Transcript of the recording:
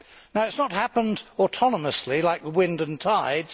Now it has not happened autonomously like the wind and tides